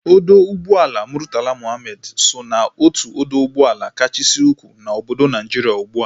Ọdọ ụgbọelu Murtala Muhammed so ná otu odo ụgbọelu kachasị ukwuu na obodo Naijiria ugbua